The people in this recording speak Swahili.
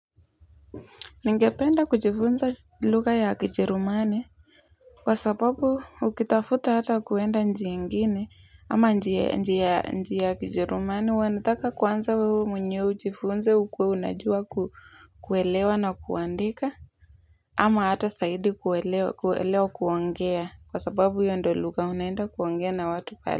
Ningependa kujifunza lugha ya kijerumani, kwa sababu ukitafuta hata kwenda nchi ingine ama njia ya kijerumani wanataka kwanza wewe mwenyewe ujifunze ukuwe unajua kuelewa na kuandika ama hata zaidi kuelewa kuongea kwa sababu hiyo ndo lugha unaenda kuongea na watu pale.